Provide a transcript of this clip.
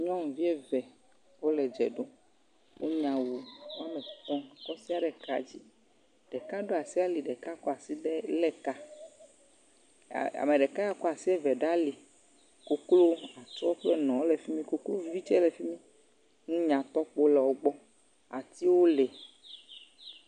Nyɔnuvi eve wole dze ɖom. Wonya awu wo ame etɔ̃ kɔsia ɖe kaa dzi. Ɖeka ɖo asi ali, ɖeka kɔ asi ɖe lé ka. A, ame ɖeka ya kɔ asi eve ɖe ali. Koklo wokple nɔɔ wole fi mi, koklovi tsɛ le fi mi. Nunyatɔkpowo le wogbɔ. Atiwo le.